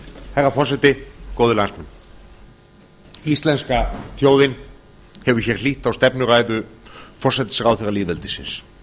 herra forseti góðir landsmenn íslenska þjóðin hefur hér hlýtt á stefnuræðu forsætisráðherra lýðveldisins